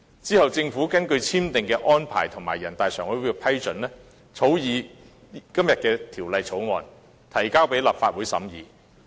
其後，政府根據兩地簽訂的《合作安排》和人大常委會的決定，草擬今天辯論的《條例草案》，並提交立法會審議。